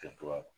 Kɛcogoya